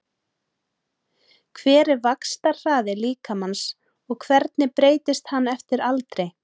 Hver er vaxtarhraði líkamans og hvernig breytist hann eftir aldri?